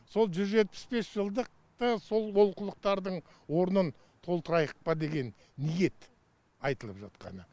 сол жүз жетпіс бес жылдықты сол олқылықтардың орнын толтырайық па деген ниет айтылып жатқаны